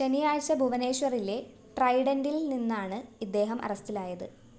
ശനിയാഴ്ച ഭുവനേശ്വറിലെ ട്രൈഡന്റില്‍നിന്നാണ് ഇദ്ദേഹം അറസ്റ്റിലായത്